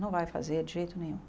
Não vai fazer de jeito nenhum.